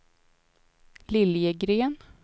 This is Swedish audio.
Liljegren